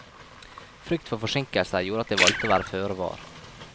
Frykt for forsinkelser gjorde at de valgte å være føre var.